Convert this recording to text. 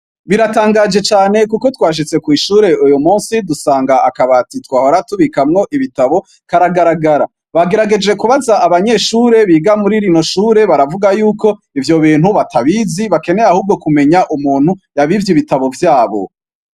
Biratangaje cane kuko twashitse kw'ishure uyumunsi dusanga akabati twahora tubikamwo ibitabo karagaragara, twagerageje kubaza abanyeshure biga muri rino shure baravuga yuko ivyobintu batabizi bakeneye ahubwo kumenya umuntu yabivye ibitabo vyabo.